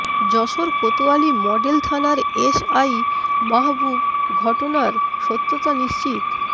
Jessore Kotwali model থানার SI Mahbub ঘটনার সত্যতা নিশ্চিত